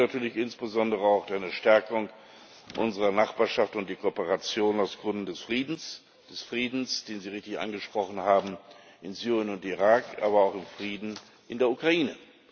Dazu gehört natürlich insbesondere auch eine Stärkung unserer Nachbarschaft und die Kooperation aus Gründen des Friedens des Friedens, den Sie richtig angesprochen haben, in Syrien und Irak, aber auch des Friedens in der Ukraine.